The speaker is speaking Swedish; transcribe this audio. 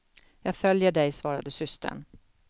Jag följer dig, svarade systern.